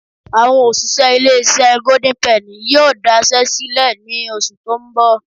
Àwọn òṣìṣẹ́ ilé-iṣẹ́ Golden penny yóò daṣẹ́ sílẹ̀ ní oṣù tó ń bọ̀